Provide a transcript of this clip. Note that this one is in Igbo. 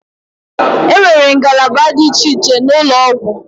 E nwere ngalaba dị iche iche n'ụlọ ọgwụ.